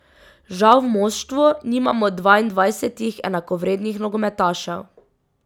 Žal v moštvu nimamo dvaindvajsetih enakovrednih nogometašev.